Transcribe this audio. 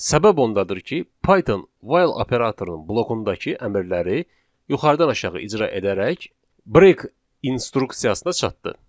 Səbəb ondadır ki, Python 'while' operatorunun blokundakı əmrləri yuxarıdan aşağı icra edərək 'break' instruksiyasına çatdı.